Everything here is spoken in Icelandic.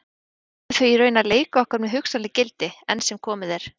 Við verðum því í raun að leika okkur með hugsanleg gildi, enn sem komið er.